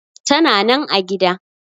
Tana nan a gida.